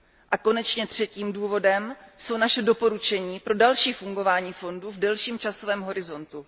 A konečně třetím důvodem jsou naše doporučení pro další fungování fondu v delším časovém horizontu.